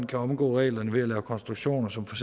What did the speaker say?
kan omgå reglerne ved at lave konstruktioner som for